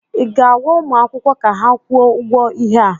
ị ga-agwa ụmụ akwụkwọ ka ha kwụọ ụgwọ ihe a?